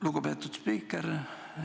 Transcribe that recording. Lugupeetud spiiker!